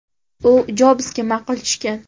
U Jobsga ma’qul tushgan.